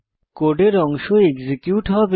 কোডের অংশ এক্সিকিউট হবে